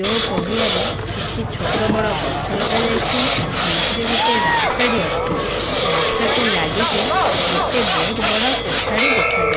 ଯୋଉ ପଡିଆରେ କିଛି ଛୋଟ ବଡ ଗଛ ଲଗାଯାଇଛି ମଝିରେ ଗୋଟେ ରାସ୍ତାବି ଅଛି ରାସ୍ତାକୁ ଲାଗିକି ଗୋଟେ ବହୁତ ବଡ କୋଠାଟି ଦେଖାଯା --